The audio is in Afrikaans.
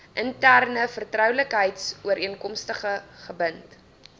interne vertroulikheidsooreenkomste gebind